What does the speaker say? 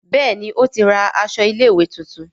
Béèni o tí ra aṣọ ilé ìwé títún.